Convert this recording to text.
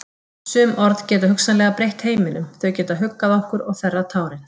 Sum orð geta hugsanlega breytt heiminum, þau geta huggað okkur og þerrað tárin.